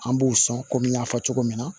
An b'u sɔn kɔmi n y'a fɔ cogo min na